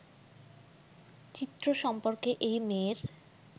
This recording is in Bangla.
চিত্র সম্পর্কে এই মেয়ের